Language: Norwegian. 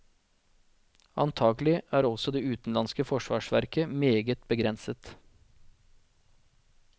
Antagelig er også det utenlandske forsvarsverket meget begrenset.